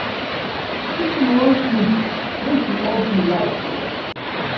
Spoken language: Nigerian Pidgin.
If you wan sleep, make you off di light o.